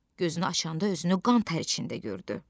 Gözünü açanda özünü qan tər içində gördü.